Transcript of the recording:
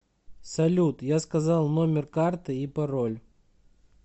салют я сказал номер карты и пароль